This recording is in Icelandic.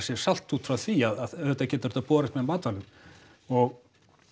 sjálft út frá því að auðvitað getur þetta borist með matvælum og